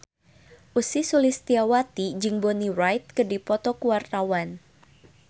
Ussy Sulistyawati jeung Bonnie Wright keur dipoto ku wartawan